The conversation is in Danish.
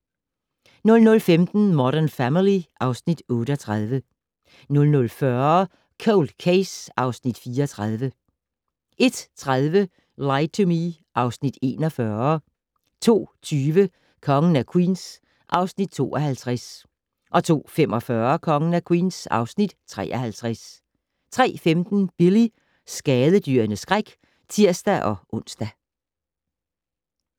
00:15: Modern Family (Afs. 38) 00:40: Cold Case (Afs. 34) 01:30: Lie to Me (Afs. 41) 02:20: Kongen af Queens (Afs. 52) 02:45: Kongen af Queens (Afs. 53) 03:15: Billy - skadedyrenes skræk (tir-ons)